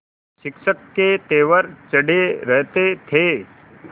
शिक्षक के तेवर चढ़े रहते थे